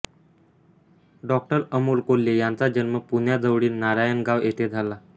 डॉ अमोल कोल्हे यांचा जन्म पुण्याजवळील नारायणगाव येथे झाला